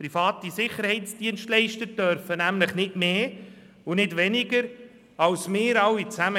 Private Sicherheitsdienstleister dürfen nämlich nicht mehr und nicht weniger tun als wir, die wir hier drin sitzen.